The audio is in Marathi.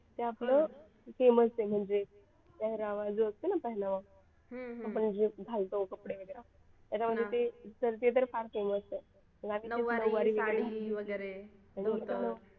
ते आपलं same असते म्हणजे पेहरावा जो असते ना पेहनावा जे घालतो कपडे वगैरे त्याच्यामध्ये ते तर फार famous आहे आणि ती नऊवारी साडी वगैरे धोतर